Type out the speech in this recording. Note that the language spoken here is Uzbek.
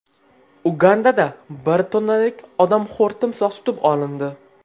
Ugandada bir tonnalik odamxo‘r timsoh tutib olindi.